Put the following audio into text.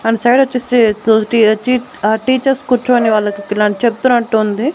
And side వచ్చేసి చిట్ ఆ టీచర్స్ కూర్చొని వాళ్లకి చెబుతున్నట్టు ఉంది.